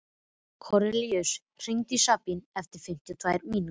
Kornelíus, hringdu í Sabínu eftir fimmtíu og tvær mínútur.